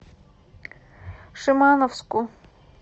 шимановску